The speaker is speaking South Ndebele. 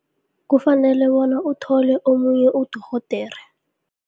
Kufanele bona uthole omunye udorhodere.